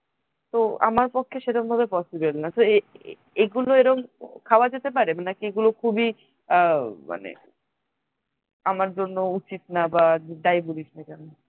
তো আমার পক্ষে সেরকম ভাবে possible না so এগুলো এরম খাওয়া যেতে পারে নাকি এগুলো খুবই আহ মানে আমার জন্য উচিত না বা যাই বলিস না কেনো